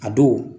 A don